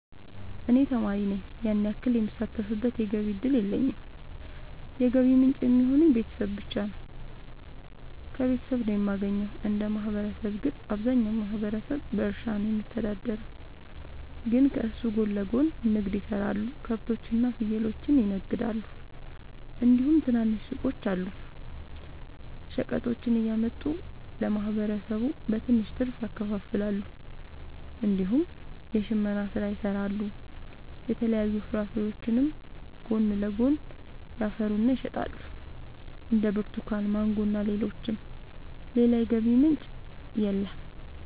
እኔ ተማሪ ነኝ ያን ያክል የምሳተፍበት የገቢ እድል የለኝም የገቢ ምንጭ የሚሆኑኝ ቤተሰብ ብቻ ነው። ከቤተሰብ ነው የማገኘው። እንደ ማህበረሰብ ግን አብዛኛው ማህበረሰብ በእርሻ ነው የሚተዳደር ግን ከሱ ጎን ለጎን ንግድ የሰራሉ ከብቶች እና ፍየሎችን ይነግዳሉ እንዲሁም ትናንሽ ሱቆች አሉ። ሸቀጦችን እያመጡ ለማህበረሰቡ በትንሽ ትርፍ ያከፋፍላሉ። እንዲሁም የሽመና ስራ ይሰራሉ የተለያዩ ፍራፍሬዎችንም ጎን ለጎን ያፈሩና ይሸጣሉ እንደ ብርቱካን ማንጎ እና ሌሎችም። ሌላ የገቢ ምንጭ የለም።